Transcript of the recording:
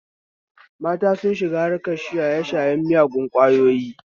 Mata sun shiga harkar shaye shayen miyagun ƙwayoyi